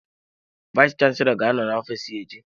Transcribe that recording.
Vayis chansilọ ga-anọ n'ofiis ya echi.